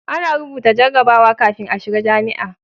A na rubuta jarrabawa kafin a shiga jami'a